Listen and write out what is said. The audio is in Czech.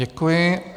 Děkuji.